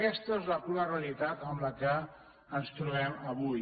aquesta és la crua realitat amb què ens trobem avui